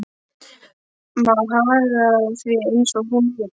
Má haga því eins og hún vill.